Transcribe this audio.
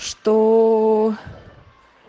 чтооо